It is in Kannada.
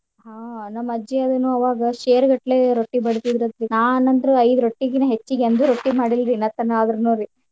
ಹಾ ನಮ್ಮ್ ಅಜ್ಜಿ ಅದುನು ಅವಾಗ ಶೇರ್ಗಟ್ಲೆ ರೊಟ್ಟಿ ಬಡಿತಿದ್ರ ಅಂತ್ರಿ ನಾನ್ ಅಂತ್ರು ಐದ್ ರೊಟ್ಟಿಗಿನ ಹೆಚ್ಚಿಗಿ ಅಂದ್ರೆ ರೊಟ್ಟಿ ಮಾಡಿಲ್ರಿ ಇನ್ನ ತನಾ ಆದ್ರುನುರಿ.